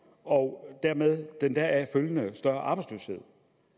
år med den deraf følgende større arbejdsløshed og